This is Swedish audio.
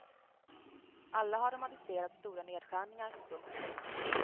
Alla har de aviserat stora nedskärningar. punkt